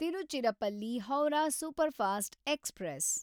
Tiruchirappalli Howrah superfast express